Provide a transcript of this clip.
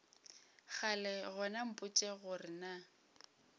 kgale gona mpotše gore na